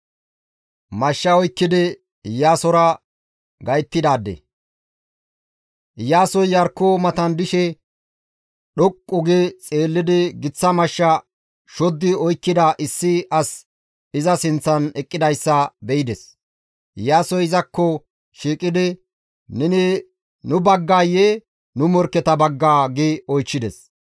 Iyaasoy Iyarkko matan dishe dhoqqu gi xeellidi giththa mashsha shoddi oykkida issi asi iza sinththan eqqidayssa be7ides; Iyaasoy izakko shiiqidi, «Neni nu baggayee nu morkketa baggaa?» gi oychchides.